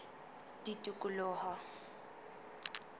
tikoloho